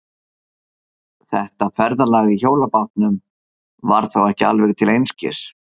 Þetta ferðalag í hjólabátnum var þá ekki alveg til einskis.